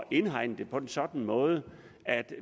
indhegne det på en sådan måde at